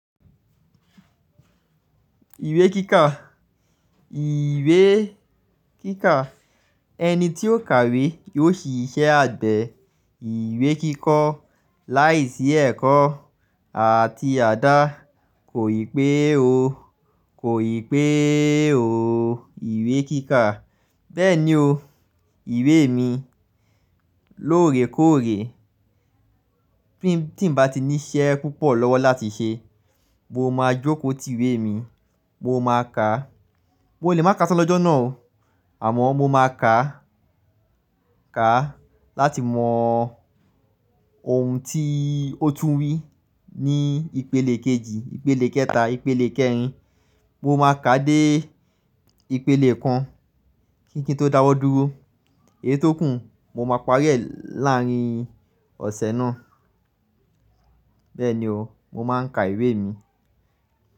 Ìwé kíkà, ìwé kíkà ẹni tí ó kàwé yóò ṣiṣẹ́ àgbẹ̀ ìwé kíkọ́ láìsí ẹ̀kọ́ àti àdá. Kò ì pé o, kò ì pé o. Ìwé kíkà bẹ́ẹ̀ ni o. Ìwé mi lóore kóòré. Bí tí n bá ti ní iṣẹ́ púpọ̀ lọ́wọ́ láti ṣe, mo máa jókòó ti ìwé mi, mo máa ka. Mo lè máa ká só lọ́jọ́ náà o, àmọ́ mo máa ka ka láti mọ ohun tí ó tún wí ní ìpele kejì, ìpele kẹta, ìpele kẹrin. Mo máa ka dé ìpele kan kí n tó dáwọ́ dúró. Èyí tó kún, mo máa parí ẹ̀ láàárín ọ̀sẹ̀ náà. Bẹ́ẹ̀ ni o, mo máa ń ka ìwé mi.